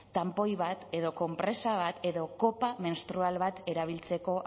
tanpoi bat edo konpresa bat edo kopa menstrual bat erabiltzeko